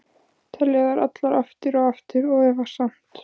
Telja þær allar, aftur og aftur- og efast samt.